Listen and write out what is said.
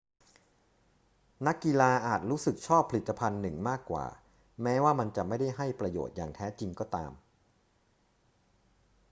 นักกีฬาอาจรู้สึกชอบผลิตภัณฑ์หนึ่งมากกว่า แม้ว่ามันจะไม่ได้ให้ประโยชน์อย่างแท้จริงก็ตาม